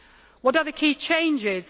What are the key changes?